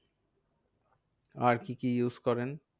আর কি কি use করেন?